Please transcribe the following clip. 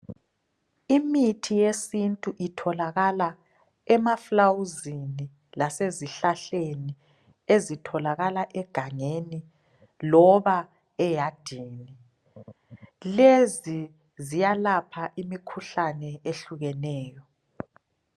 imithi yesintu itholakala emaflawuzini lasezihlahleni ezitholakala egangeni loba eyadini lezi ziyalapha imikhuhlane ehlukeneyo